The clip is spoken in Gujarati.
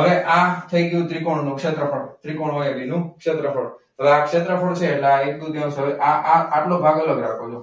હવે આ થઈ ગયું ત્રિકોણ નું ક્ષેત્રફળ ત્રિકોણ નું ક્ષેત્રફળ હવે આ ક્ષેત્રફળ છે. એટલે આ એક દુત્યૌંશ હોય આ આ આટલો ભાગ અલગ રાખવો.